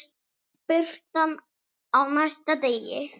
Birtan á næsta degi.